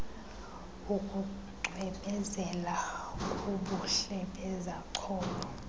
bokucwebezela kobuhle bezacholo